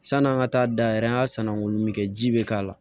San'an ka taa dayɛlɛ an ka sannamanko min kɛ ji bɛ k'a la